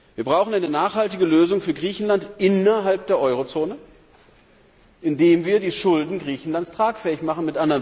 Wir brauchen eine nachhaltige Lösung für Griechenland innerhalb der Eurozone, indem wir die Schulden Griechenlands tragfähig machen.